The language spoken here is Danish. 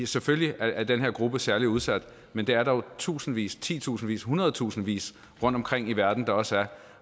selvfølgelig er den her gruppe særlig udsat men det er der jo tusindvis titusindvis hundredtusindvis rundtomkring i verden der også er